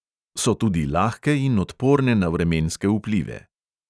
So tudi lahke in odporne na vremenske vplive.